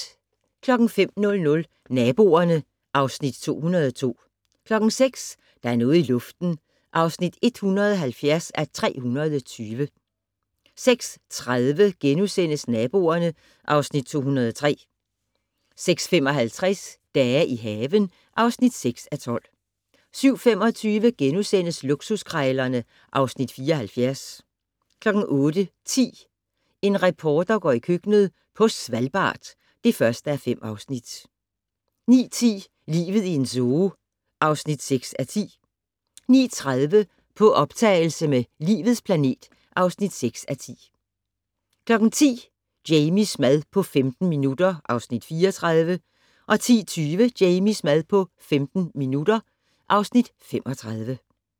05:00: Naboerne (Afs. 202) 06:00: Der er noget i luften (170:320) 06:30: Naboerne (Afs. 203)* 06:55: Dage i haven (6:12) 07:25: Luksuskrejlerne (Afs. 74)* 08:10: En reporter går i køkkenet - på Svalbard (1:5) 09:10: Livet i en zoo (6:10) 09:30: På optagelse med "Livets planet" (6:10) 10:00: Jamies mad på 15 minutter (Afs. 34) 10:20: Jamies mad på 15 minutter (Afs. 35)